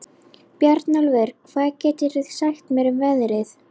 Bjarnólfur, hvað geturðu sagt mér um veðrið?